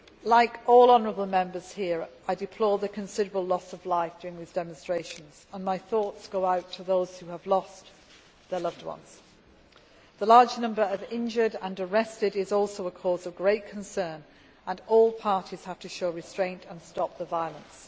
used. Like all the honourable Members here, I deplore the considerable loss of life during the demonstrations and my thoughts go out to those who have lost their loved ones. The large number of injured and arrested is also a cause of great concern, and all parties have to show restraint and stop the violence.